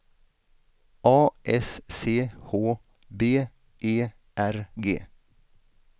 A S C H B E R G